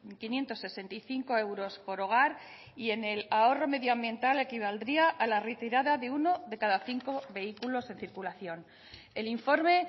quinientos sesenta y cinco euros por hogar y en el ahorro medioambiental equivaldría a la retirada de uno de cada cinco vehículos en circulación el informe